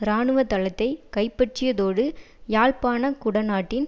இராணுவ தளத்தை கைப்பற்றியதோடு யாழ்ப்பாண குடாநாட்டின்